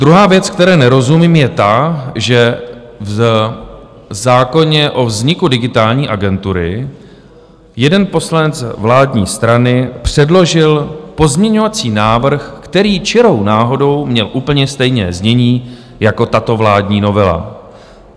Druhá věc, které nerozumím, je ta, že v zákoně o vzniku Digitální agentury jeden poslanec vládní strany předložil pozměňovací návrh, který čirou náhodou měl úplně stejné znění jako tato vládní novela.